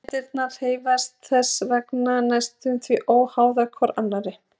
Sameindirnar hreyfast þess vegna næstum því óháðar hver annarri.